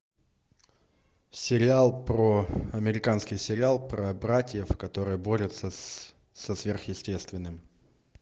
сериал про американский сериал про братьев которые борются со сверхъестественным